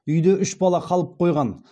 үйде үш бала қалып қойған